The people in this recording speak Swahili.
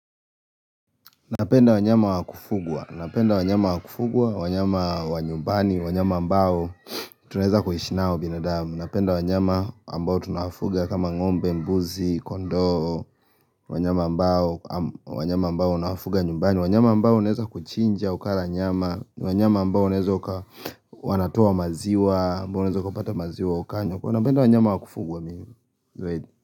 Napenda wanyama wa kufugwa, Napenda wanyama wa kufugwa, wanyama wa nyumbani, wanyama ambao tunaeza kuishi nao binadamu Napenda wanyama ambao tunafuga kama ngombe, mbuzi, kondoo, wanyama ambao unawanafuga nyumbani wanyama ambao unaeza kuchinja ukara nyama, wanyama ambao unaeza uka wanatoa maziwa, ambao unaeza ukapata maziwa ukanywa. Napenda wanyama wa kufugwa mingi. Zaidi